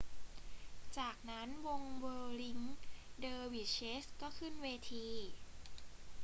จากนั้นวงเวิร์ลลิง เดอร์วิชเชส ก็ขึ้นเวที